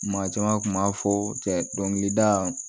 Maa caman kun b'a fɔ cɛ dɔnkilida